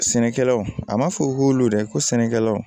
Sɛnɛkɛlaw a ma fɔ k'olu dɛ ko sɛnɛkɛlaw